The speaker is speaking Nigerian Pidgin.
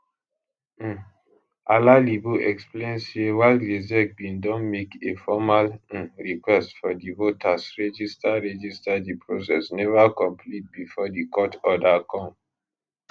um alalibo explain say while rsiec bin don make a formal um request for di voters register register di process neva complete bifor di court order come